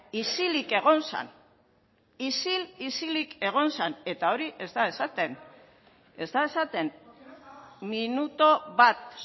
isilik egon zen isil isilik egon zen eta hori ez da esaten ez da esaten minutu bat